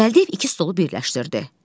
Gəldiyev iki stolu birləşdirdi.